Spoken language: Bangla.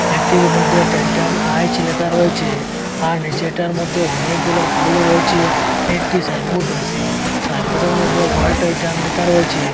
একটির মধ্যে টাইটান আইচ লেখা রয়েছে আর নীচেরটার মধ্যে অনেকগুলা ফুলও রয়েছে একটি সাইন বোর্ড রয়েছে সাইনবোর্ডের মধ্যে ওয়াল টাইটান লেখা রয়েছে।